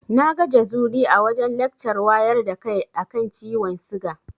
Na ga Jazuli a wajen lakcar wayar da kai a kan ciwon siga.